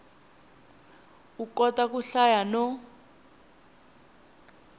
u kota ku hlaya no